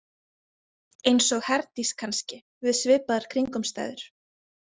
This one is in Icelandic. Eins og Herdís kannski við svipaðar kringumstæður.